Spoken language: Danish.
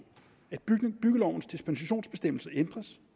byggelovens dispensationsbestemmelse ændres